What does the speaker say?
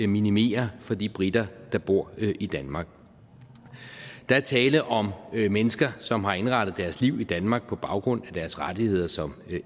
minimere for de briter der bor i danmark der er tale om mennesker som har indrettet deres liv i danmark på baggrund af deres rettigheder som